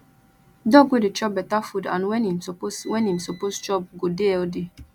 dog wey dey chop beta food and when im suppose when im suppose chop go dey healthy